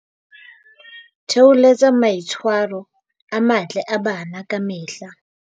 Theholetsa maitshwa ro a matle a bana ka mehla